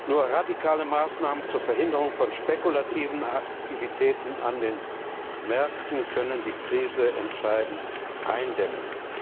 Nur radikale Maßnahmen zur Verhinderung von spekulativen Aktivitäten an den Märkten können die Krise entscheidend eindämmen.